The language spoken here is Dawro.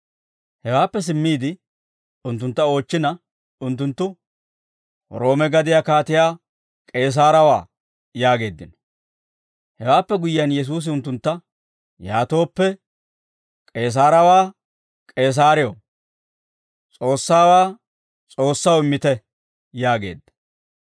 Hewaappe simmiide unttuntta oochchina, unttunttu, «Roome gadiyaa Kaatiyaa K'eesaarewaa» yaageeddino. Hewaappe guyyiyaan, Yesuusi unttuntta, «Yaatooppe, K'eesaarewaa K'eesaarew, S'oossaawaa S'oossaw immite» yaageedda.